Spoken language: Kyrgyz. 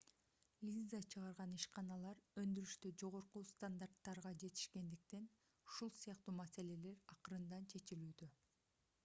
линза чыгарган ишканалар өндүрүштө жогорку стандарттарга жетишкендиктен ушул сыяктуу маселелер акырындан чечилүүдө